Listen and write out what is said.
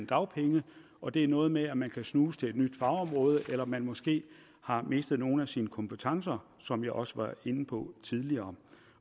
dagpengene og det er noget med at man kan snuse til et nyt fagområde eller at man måske har mistet nogle af sine kompetencer som jeg også var inde på tidligere